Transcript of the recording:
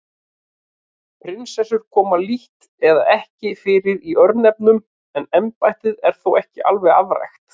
Prinsessur koma lítt eða ekki fyrir í örnefnum en embættið er þó ekki alveg afrækt.